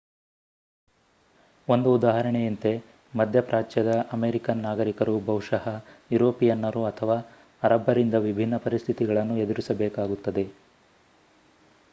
ಒಂದು ಉದಾಹರಣೆಯಂತೆ ಮಧ್ಯಪ್ರಾಚ್ಯದ ಅಮೆರಿಕನ್ ನಾಗರಿಕರು ಬಹುಶಃ ಯುರೋಪಿಯನ್ನರು ಅಥವಾ ಅರಬ್ಬರಿಂದ ವಿಭಿನ್ನ ಪರಿಸ್ಥಿತಿಗಳನ್ನು ಎದುರಿಸಬೇಕಾಗುತ್ತದೆ